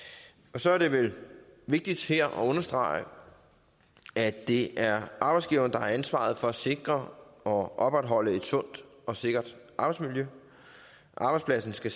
og så er det vel vigtigt her at understrege at det er arbejdsgiveren der har ansvaret for at sikre og opretholde et sundt og sikkert arbejdsmiljø arbejdspladsen skal